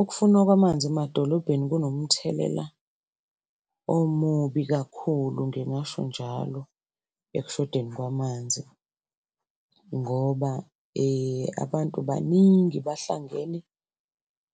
Ukufunwa kwamanzi emadolobheni kunomthelela omubi kakhulu, ngingasho njalo ekushodeni kwamanzi ngoba abantu baningi bahlangene